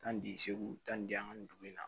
Taa ni segu ta ni di yan ni dugu in na